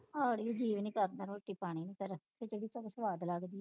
ਖਾਣ ਨੂੰ ਜੀ ਵੀ ਨਹੀਂ ਕਰਦਾ ਰੋਟੀ ਪਾਣੀ ਫਿਰ ਖਿਚੜੀ ਸੁਆਦ ਲੱਗਦੀ